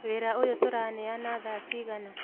Wĩra ũyũ tũraneana thaa cigana?